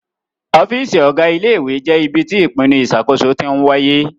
Ọ́fíìsì Ọ̀gá ilé ìwé jẹ́ ibi tí ìpinnu ìṣàkóso tí ń wáyé